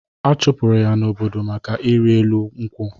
Achụpụrụ ya n'obodo maka ọrịrị elu nkwụ.